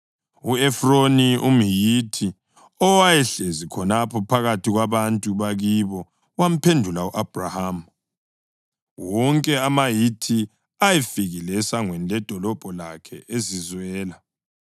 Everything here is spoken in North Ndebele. U-Efroni umHithi owayehlezi khonapho phakathi kwabantu bakibo wamphendula u-Abhrahama wonke amaHithi ayefikile esangweni ledolobho lakhe ezizwela.